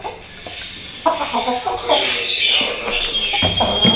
покажи мне сериал однажды ночью